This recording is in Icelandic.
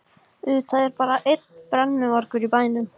Auðvitað er bara einn brennuvargur í bænum!